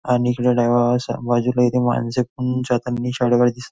आणि बाजूला इथे मानसे पण जाताना दिस--